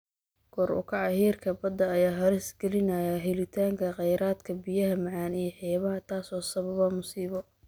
Kor u kaca heerka badda ayaa halis gelinaya helitaanka kheyraadka biyaha macaan ee xeebaha, taasoo sababa masiibo.